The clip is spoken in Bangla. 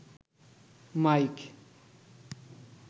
মাইক